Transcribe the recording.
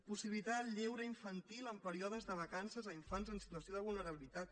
possibilitar el lleure infantil en períodes de vacances a infants en situació de vulnerabilitat